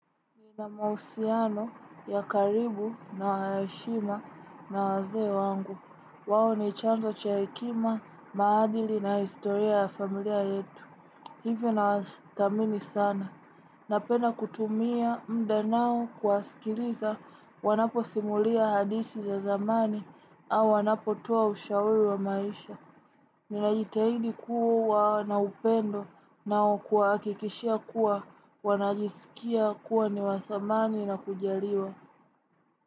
Ni na mahusiano ya karibu na ya heshima na wazee wangu. Wao ni chanzo cha hekima, maadili na historia ya familia yetu. Hivyo na wasitamini sana. Napenda kutumia mda nao kuwaskiliza wanaposimulia hadithi za zamani au wanapotoa ushauri wa maisha. Ninajitahidi kuwa na upendo nao kuwahakikishia kuwa wanajisikia kuwa niwathamani na kujaliwa.